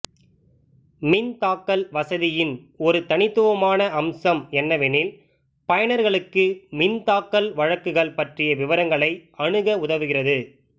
மின் தாக்கல் வசதியின் ஒரு தனித்துவமான அம்சம் என்னவெனில் பயனர்களுக்கு மின் தாக்கல் வழக்குகள் பற்றிய விவரங்களை அணுக உதவுகிறது